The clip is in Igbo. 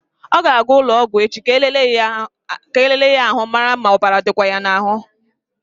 Ọ ga-aga ụlọ ọgwụ echi ka e lelee ya ahụ mara ma ọbara ọ dịkwa ya n'ahụ.